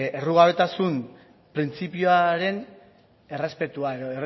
errugabetasun printzipioaren errespetua edo